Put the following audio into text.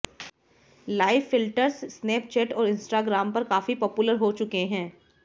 live filters Snapchat और Instagram पर काफी पॉपुलर हो चुके हैं